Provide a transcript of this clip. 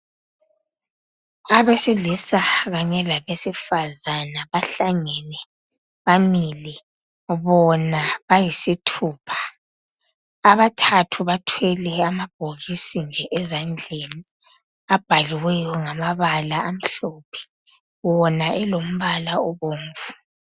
Abesilisa kanye labesifazana bahlangene bamile bona bayisithupha abathathu bathwele amabhokisi nje ezandleni abhaliweyo ngamabala amhlophe wona elombala obomvu.